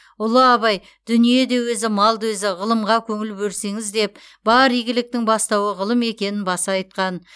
ұлы абай дүние де өзі мал да өзі ғылымға көңіл берсеңіз деп бар игіліктің бастауы ғылым екенін баса айтқан